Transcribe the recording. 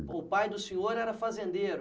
O pai do senhor era fazendeiro.